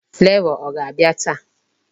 Flavor ọ ga-abịa taa?